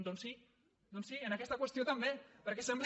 doncs sí doncs sí en aquesta qüestió també perquè sem·bla